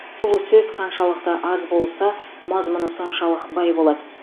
сұлу сөз қаншалықты аз болса мазмұны соншалық бай болады